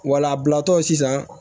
Wala bilatɔ sisan